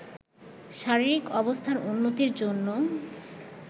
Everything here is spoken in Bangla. শারীরিক অবস্থার উন্নতির জন্য